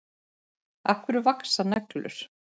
Af hverju vaxa neglur?